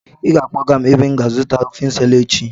Ị ga-akpọga m ebe m ga-azụta ofe Nsala echi!